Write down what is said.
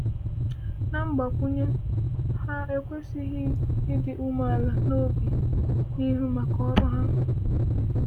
Na mgbakwunye, ha ekwesịghị ịdị umeala n’obi n’ịhụ maka ọrụ ha.